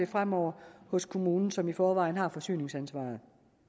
fremover hos kommunen som i forvejen har forsyningsansvaret